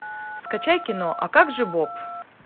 скачай кино а как же боб